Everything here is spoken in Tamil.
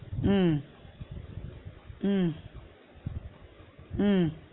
உம் உம் உம்